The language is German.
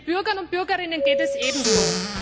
Den Bürgern und Bürgerinnen geht es ebenso.